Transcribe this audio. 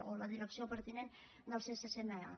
o la direcció pertinent del ccma